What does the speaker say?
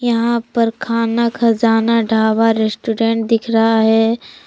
यहां पर खाना खजाना ढाबा रेस्टोरेंट दिख रहा है।